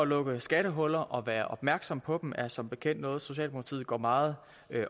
lukke skattehuller og at være opmærksom på dem er som bekendt noget socialdemokratiet går meget